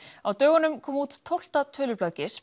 á dögunum kom út tólfta tölublað